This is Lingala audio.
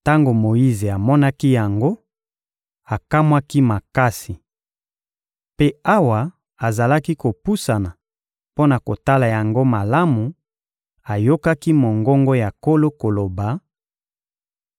Tango Moyize amonaki yango, akamwaki makasi. Mpe awa azalaki kopusana mpo na kotala yango malamu, ayokaki mongongo ya Nkolo koloba: